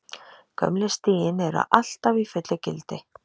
Gömlu stigin eru alltaf í fullu gildi.